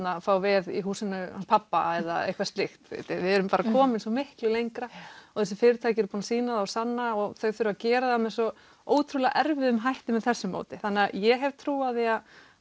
fá veð í húsinu hans pabba eða eitthvað slíkt við erum komin svo miklu lengra og þessi fyrirtæki eru búin að sýna það og sanna og þau þurfa að gera það með svo ótrúlega erfiðum hætti með þessu móti þannig að ég hef trú á því